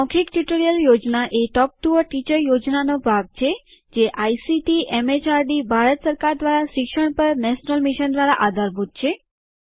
મૌખિક ટ્યુટોરીયલ યોજના એ ટોક ટુ અ ટીચર યોજનાનો ભાગ છે જે આઇસીટીએમએચઆરડીભારત સરકાર દ્વારા શિક્ષણ પર નેશનલ મિશન દ્વારા આધારભૂત છે